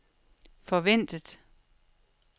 forventet